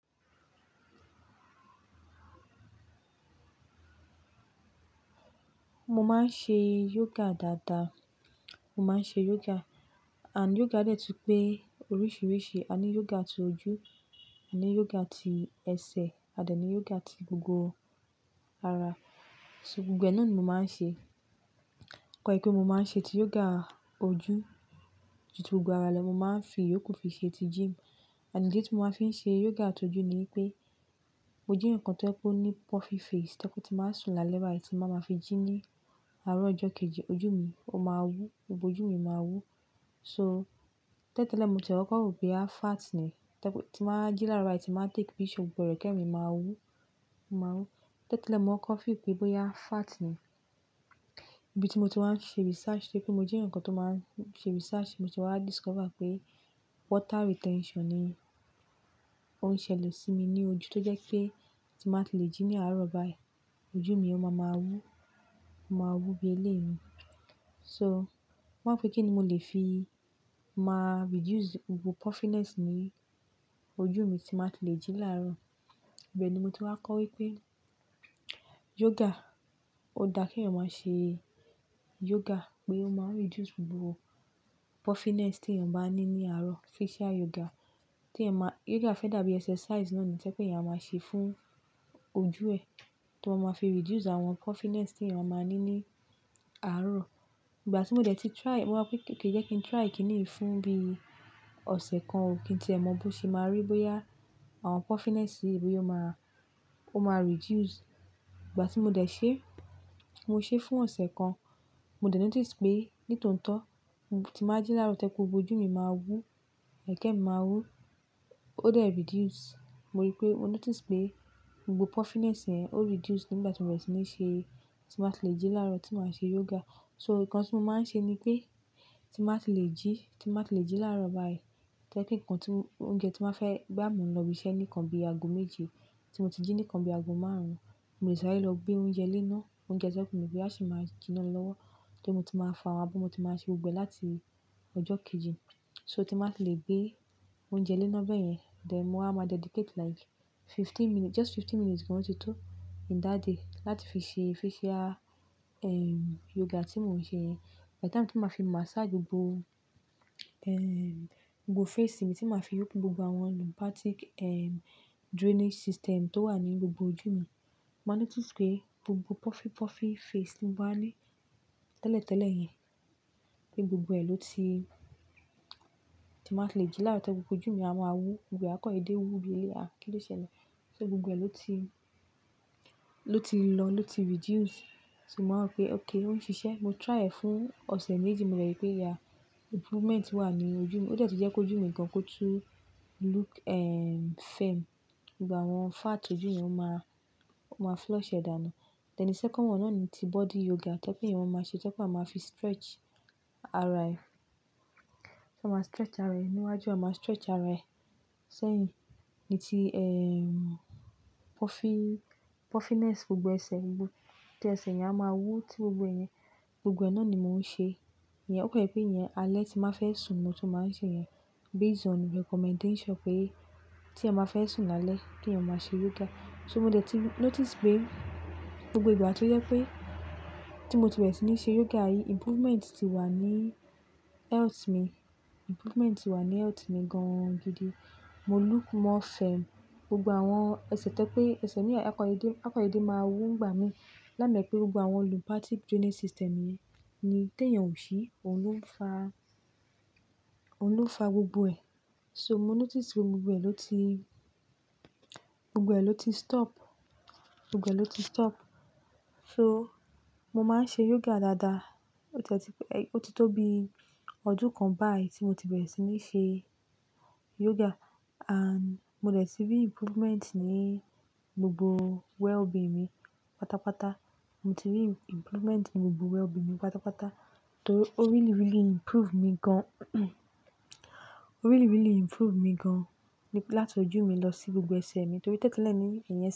Mo máa ń ṣe yoga dáadáa. Mo máa ń ṣe yoga and yoga dẹ́ tun pé oríṣiríṣi. A ní yoga tó ojú, a ní yoga tí ẹsẹ̀, a dà ní yoga tí gbogbo ara. Se gbogbo ẹ náà ni mo máa ń ṣe. Toba ye pé mo máa ń ṣe ti yoga ojú ju ti gbogbo ara lọ. Mo máa ń fi yókù fi ṣe ti gym and idi ti mo ma fi ń ṣe yoga tojú ni pé mo jẹ́ eyan kan tí ye pe o ní puffy face. To ye pe tí màá sùn lálẹ́ báyìí tí ba máa fi jí ní àárọ̀ ọjọ́ kejì ojú mi ó máa wú, gbogbo ojú mi máa wú. So tẹ́lẹ̀ tẹ́lẹ̀ mo ti e koko ro pé à fat ni. To jẹ pe tí n ba wa ji laarọ, tí n ba take picture gbogbo ẹrẹkẹ mi maa wu, o maa n wu tẹ́lẹ̀ tẹ́lẹ̀ mo kọ́ feel pé bóyá fat ni. Ibi tí mo ti wá ń ṣe research torí pé mo jẹ́ eyokan tó máa ń ṣe research, mo se wá discover pé water retention ni ó ń ṣẹlẹ̀ sí mi ní ojú tó jẹ́ pé tí màá ti lè jí ní àárọ̀ báyìí ojú mi ó máa máa wú, ó máa wú bí eléèni. So mo wá pé kí ni mo lè fi máa reduce gbogbo puffiness ní ojú mi tí màá ti lè jí láàárọ̀. Ibẹ̀ ni mo ti wá kọ́ wípé yoga ó dá kí èèyàn máa ṣe yoga pé ó máa reduce gbogbo puffiness tí èèyàn bá ní ní àárọ̀, facial yoga. Tí è má-- yoga fẹ́ dàbí exercise náà ni tẹ́ pé èèyàn máa ṣe fún ojú ẹ̀, tí wọ́n máa fi reduce àwọn puffiness tí èèyàn máa ní ní àárọ̀. Ìgbà tí mo dẹ̀ ti try, mo wá pé kí jẹ́ kí n try kìíní fún bí ọ̀sẹ̀ kan ó kí n ti eẹ́ mọ bó ṣe máa rí bóyá àwọn puffiness bóya o máa, ó máa reduce. Ìgbà tí mo dẹ̀ ṣe, mo ṣe fún ọ̀sẹ̀ kan. Mo dẹ̀ notice pé ní tòótọ́ mo ti máa jí lára tẹ́ pe gbogbo ojú mi máa wú, ẹ̀kẹ́ mi máa wú. Ó dẹ̀ reduce. Mo rí pé, mo notice pé gbogbo puffiness yẹ́n ó reduce nígbà tí mo bẹ̀rẹ̀ sí ní ṣe, tí màá ti lè jí láàárọ̀ tí màá ṣe yoga. So nǹkan tí mo máa ń ṣe ni pé tí màá ti lè jí, tí màá ti lè jí láàárọ̀ báyìí tẹ́ pe ǹkan tí óúnjẹ tí màá fẹ́ boyà mo n lọ bí iṣẹ́ nìkan bí i ago méje tí mo ti jí nìkan bí i ago márùn-ún. Mo lè ṣàrẹ́ lọ gbé oúnjẹ léná, oúnjẹ tí mo pè pé á sì máa jinná lọ́wọ́ torí mo tí màá fo àwọn abọ́ mo tí màá ṣe gbogbo ẹ láti ọjọ́ kejì. So tí màá ti lè gbé oúnjẹ léná bẹ́ẹ̀ yẹn, then mo á máa dedicate like fifteen minutes, just fifteen minutes gan-an tító in that day láti fi ṣe facial, ehm, yoga tí mò ń ṣe. By the time tí màá fi massage gbogbo, ehm, gbogbo face mi, tí màá fi open gbogbo àwọn lymphatic, ehm, drainage system tó wà ní gbogbo ojú mi. Mo máa notice pé gbogbo puffy, puffy face tí mo bá ní tẹ́lẹ̀ tẹ́lẹ̀ yẹn pé gbogbo ẹ ló ti-- tí màá ti lè jí lára tẹ́kọ́ gbogbo ojú mi á máa wú. Gbogbo ee àkọ́ dẹdẹ wú bí eléèá, kí ló ṣẹlẹ̀? So gbogbo ẹ ló ti, ló ti lọ, ló ti reduce. So mo maa wo pe okay oo n sise mo try ee fún ose méjì mo de ri pe aa improvement wa ni ojú mi oo de tun je ki ojú mi gan ko tun look firm gbogbo àwọn fat ojú yẹn ó máa, ó máa flush ẹ̀ dànù. Then the second one náà ni ti body yoga tẹ́ pé èèyàn máa ṣe, tẹ́ pé wà máa fi stretch ara ẹ. Ti máa stretch ara ẹ níwájú, à máa stretch ara ẹ sẹ́yìn. Ni ti, ehm, puffy, puffiness gbogbo ẹsẹ̀, gbogbo tí ẹsẹ̀ yẹn a máa wú tí gbogbo ẹ yẹn. Gbogbo ẹ náà ni mò ń ṣe. Ọ̀ko je pẹ ìyẹn alẹ́ tí màá fẹ́ sùn ni mo tó máa ń ṣe ìyẹn based on recommendation pé tí ẹeyan báa fẹ́ sùn lálẹ́ kí èèyàn máa ṣe yoga. So mo dẹ̀ ti notice pé gbogbo ìgbà tó jẹ́ pé tí mo ti bẹ̀rẹ̀ sí ní ṣe yoga yìí, improvement ti wà ní health mi, improvement ti wà ní health mi gan-an gidi. Mo look more firm. Gbogbo àwọn ẹsẹ̀ tẹ́ pé ẹsẹ̀ mí wa ako dẹdẹ, ako dẹdẹ máa wú nígbà mí. Lámẹ́ pé gbogbo àwọn lymphatic drainage system yẹn ni tí èèyàn ò ṣi, òun ló ń fà, òun ló ń fà gbogbo ẹ. So mo notice pé gbogbo ẹ ló ti, gbogbo ẹ ló ti stop, gbogbo ẹ ló ti stop. So mo máa ń ṣe yoga dáadáa. Ó ti tó bí ọdún kan báyìí tí mo ti bẹ̀rẹ̀ sí ní ṣe yoga and mo dẹ̀ ti rí improvement ní gbogbo wellbeing mi pátápátá. Mo ti rí improvement ní gbogbo wellbeing mi pátápátá torí ó really, really improve mi gan. Ó really, really improve mi gan láti ojú mi lọ sí gbogbo ẹsẹ̀ mi torí tẹ́lẹ̀ tẹ́lẹ̀ ni ìyẹn.